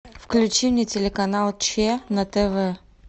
включи мне телеканал че на тв